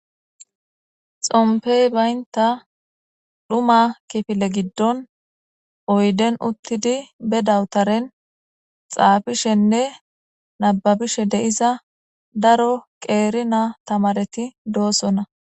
Xompey baynta dhuma kifile giddon oyden uttidi be dawutaren xaafishenne nababishe deiza daro qeerina tamareti doosonna.